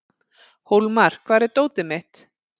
Hólmar, hvar er dótið mitt?